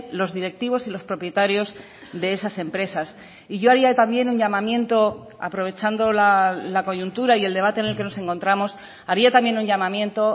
los directivos y los propietarios de esas empresas y yo haría también un llamamiento aprovechando la coyuntura y el debate en el que nos encontramos haría también un llamamiento